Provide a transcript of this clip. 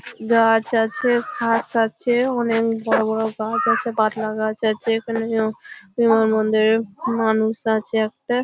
গাছ আছে ঘাস আছে অনেক বড় বড় গাছ আছে পাতলা গাছ আছে এখানে যেও বিমানবন্দর-এ মানুষ আছে একটা--